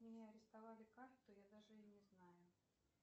у меня арестовали карту я даже и не знаю